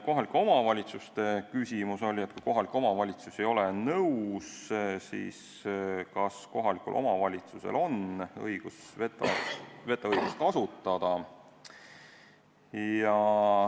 Kohalike omavalitsuse küsimus oli, et kui kohalik omavalitsus ei ole nõus, siis kas tal on õigus vetoõigust kasutada.